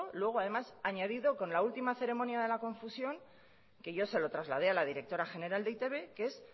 luego además añadido con la última ceremonia de la confusión que yo se lo trasladé a la directora general de e i te be que es